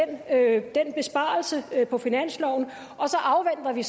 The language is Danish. af den besparelse på finansloven og så afventer vi